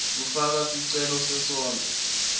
kufaka sicelo sesondlo